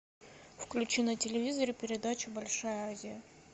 включи на телевизоре передачу большая азия